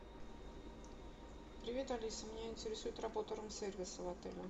привет алиса меня интересует работа рум сервиса в отеле